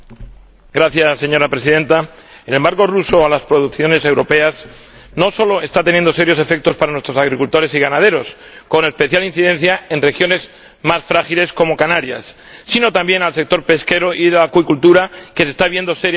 Señora Presidenta, el embargo ruso a las producciones europeas no solo está teniendo serios efectos para nuestros agricultores y ganaderos, con especial incidencia en regiones más frágiles como Canarias, sino también para el sector pesquero y de la acuicultura, que se está viendo seriamente afectado.